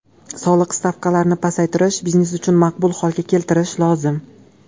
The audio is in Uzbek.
Soliq stavkalarini pasaytirish, biznes uchun maqbul holga keltirish lozim.